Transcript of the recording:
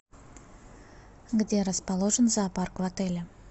где расположен зоопарк в отеле